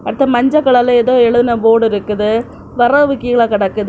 அடுத்து மஞ்ச கலர்ல ஏதோ எழுதின போர்டு இருக்குது விறகு கீழே கிடக்குது.